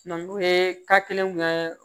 n'u ye ka kelenw kɛ